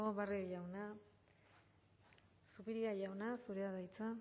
barrio jauna zupiria jauna zurea da hitza